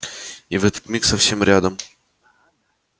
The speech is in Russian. и в этот миг совсем рядом